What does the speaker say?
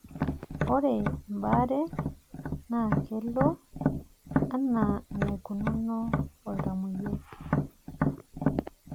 ore ebaare naa kelo anaa enaikununo oltamoyiai.